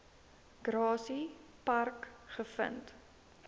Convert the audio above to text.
grassy park gevind